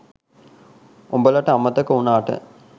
උඹලට අමතක වුනාට